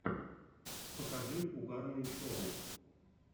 покажи угарные шоу